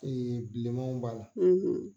bilenmanw b'a la.